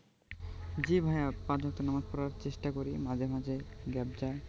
জি ভাইয়া পাঁচ ওয়াক্ত নামাজ পড়ার চেষ্টা করি মাঝে মাঝে gap যায়